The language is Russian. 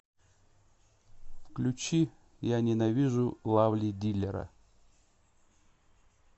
включи я ненавижу лавлидиллера